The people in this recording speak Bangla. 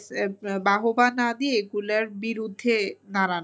বাহবা না দিয়ে এগুলার বিরুদ্ধে দাঁড়ানো।